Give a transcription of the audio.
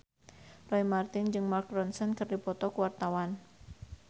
Roy Marten jeung Mark Ronson keur dipoto ku wartawan